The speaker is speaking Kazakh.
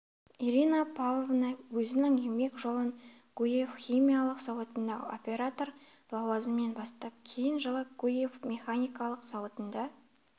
ирина павловна өзінің еңбек жолын гурьев химиялық зауытында оператор лауазымынан бастап кейін жылы гурьев механикалық зауытында